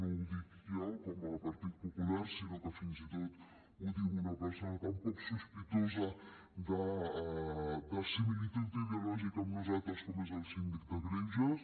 no ho dic jo com a partit popular sinó que fins i tot ho diu una persona tan poc sospitosa de similitud ideològica amb nosaltres com és el síndic de greuges